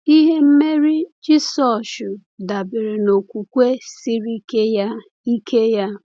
Ihe mmeri Jisọshụ dabere n’okwukwe siri ike ya. ike ya.